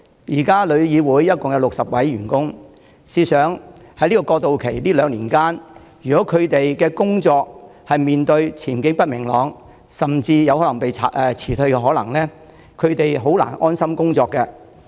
現時旅議會共有60位員工，試想在過渡期的兩年間，如果員工擔心工作前景不明朗甚至有可能被辭退，他們便難以安心工作。